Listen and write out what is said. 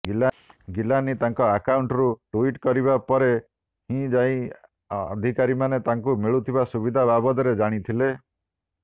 ଗିଲାନୀ ତାଙ୍କ ଆକାଉଣ୍ଟରୁ ଟ୍ୱିଟ କରିବା ପରେ ହିଁ ଯାଇ ଅଧିକାରୀମାନେ ତାଙ୍କୁ ମିଳୁଥିବା ସୁବିଧା ବାବଦରେ ଜାଣିଥିଲେ